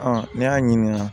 Ɔn n'i y'a ɲininka